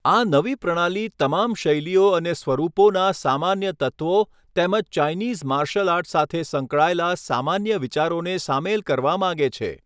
આ નવી પ્રણાલી તમામ શૈલીઓ અને સ્વરૂપોના સામાન્ય તત્ત્વો તેમજ ચાઈનીઝ માર્શલ આર્ટ સાથે સંકળાયેલા સામાન્ય વિચારોને સામેલ કરવા માંગે છે.